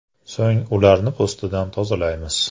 So‘ng ularni po‘stidan tozalaymiz.